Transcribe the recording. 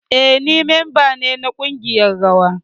Eh, ni memba ne na kungiyar rawa.